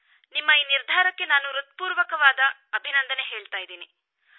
ನಿಮ್ಮ ಈ ನಿರ್ಧಾರಕ್ಕೆ ನಾನು ಹೃತ್ಪೂರ್ವಕ ಅಭಿನಂದನೆ ಹೇಳುತ್ತೇನೆ